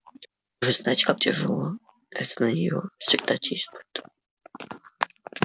вы же знаете как тяжело это на нее всегда действует